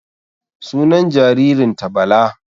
Sunan jaririn ta Bala